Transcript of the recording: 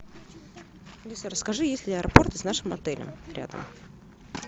алиса расскажи есть ли аэропорт с нашим отелем рядом